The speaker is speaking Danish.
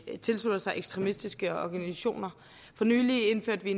tilslutter sig ekstremistiske organisationer for nylig indførte vi